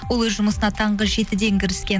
ол өз жұмысына таңғы жетіден кіріскен